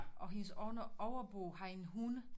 Og hendes overbo har en hund